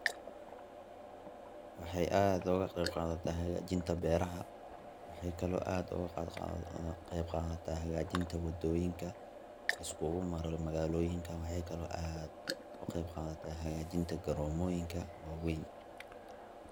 waxay aad oga qeb qadata hagaajinta beraha, waxaykale oo ay aad oga qeb qadataa hagaajinta wadoyinka liskugu maro magaalooyinka waxa kale oy ka qeb qadataa hagajinta garomooyinka waweyn